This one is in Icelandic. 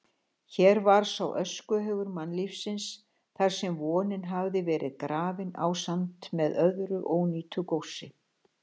Hér var sá öskuhaugur mannlífsins þarsem vonin hafði verið grafin ásamt með öðru ónýtu góssi.